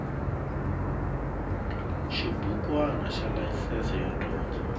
xibukwana xa layisense yo dyondza